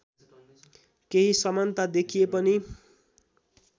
केही समानता देखिए पनि